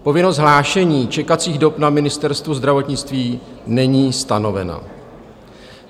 Povinnost hlášení čekací dob na Ministerstvo zdravotnictví není stanoveno."